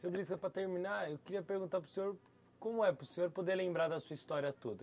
Seu, para terminar, eu queria perguntar para o senhor, como é para o senhor poder lembrar da sua história toda?